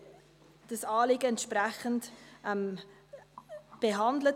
Wir haben das Anliegen entsprechend behandelt.